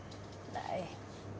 nei